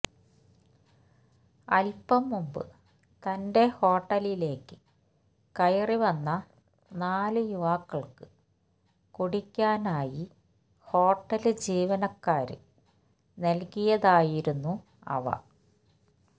അല്പം മുമ്പ് തന്റെ ഹോട്ടലിലേയ്ക്ക് കയറിവന്ന നാല് യുവാക്കള്ക്ക് കുടിക്കാനായി ഹോട്ടല് ജീവനക്കാര് നല്കിയതായിരുന്നു അവ